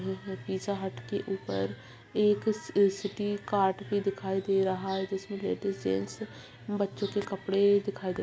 ये है Pizza Hut के ऊपर एक सिटी कार्ड भी दिखाई दे रहा है जिसमें लेडिस जेंट्स बच्चों के कपडे दिखाई दे --